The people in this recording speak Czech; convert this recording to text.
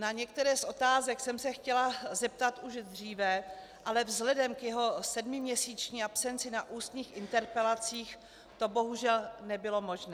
Na některé z otázek jsem se chtěla zeptat už dříve, ale vzhledem k jeho sedmiměsíční absenci na ústních interpelacích to bohužel nebylo možné.